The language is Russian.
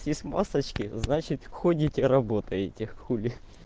есть масочки значит ходите работаете хули